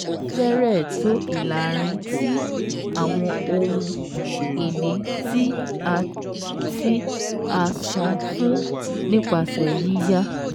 Ó fẹ́rẹ̀ẹ́ tó ìlààrin tí àwọn ohun-ìní tí a tí a san fún nípasẹ̀ yíyá